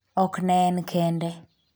ok ne en kende